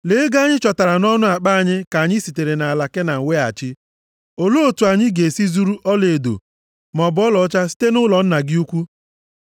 Lee, ego anyị chọtara nʼọnụ akpa anyị ka anyị sitere nʼala Kenan weghachi. Olee otu anyị ga-esi zuru ọlaedo maọbụ ọlaọcha site nʼụlọ nna gị ukwu?